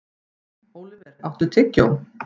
Óliver, áttu tyggjó?